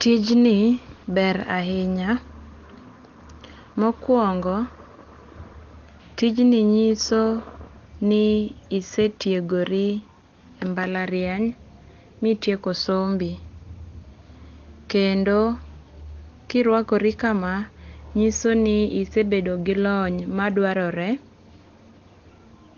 Tijni ber ahinya. Mokuongo, tijni nyiso ni isee tiegori e mbalariany mitieko sombi. Kendo kiruakori kama, nyiso ni isebedo gi lony madwarore